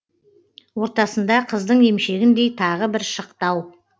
ортасында қыздың емшегіндей тағы бір шықтау